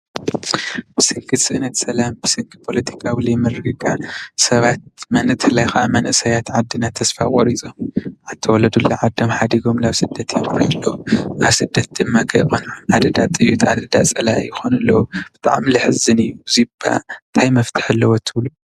ብሰንኪ ስእነት ሰላም ብሰንኪ ፖለቲካዊ ዘይምርግጋእን ሰባት ብፍላይ ከዓ መንእሰያት ዓድና ተስፋ ቆሪፆም ካብ ዝተወለድሉ ዓዶም ሓዲጎም ናብ ስደት የምርሑ ኣለው፡፡ ኣብ ስደት ድማ ኣደዳ ጥይት ኣደዳ ፀላኢ ይኾኑ ኣለው፡፡ ብጣዕሚ ዘሕዝን እዩ፡፡ እዚ ድማ መፍትሒ ኣለዎ ትብሉ ዶ?